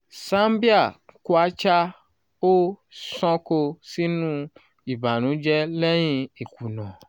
zambia kwacha o sanko sinu ìbànújẹ lẹ́yìn ìkùnà